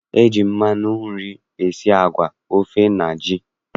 E ji mmanụ nri esi agwa, ofe na ji.